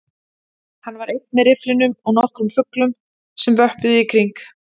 Hann var einn með rifflinum og nokkrum fuglum sem vöppuðu í kring